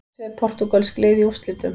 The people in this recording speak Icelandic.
Tvö portúgölsk lið í úrslitum